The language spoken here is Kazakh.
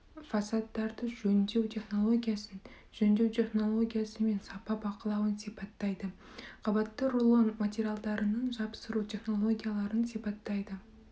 фасадтарды сипаттау технологиясын жөндеу технологиясы мен сапа бақылауын сипаттайды қабатты рулон материалдарының жапсыру технологияларын сипаттайды